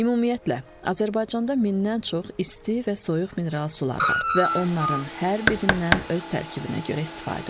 Ümumiyyətlə, Azərbaycanda mindən çox isti və soyuq mineral sular var və onların hər birindən öz tərkibinə görə istifadə olunur.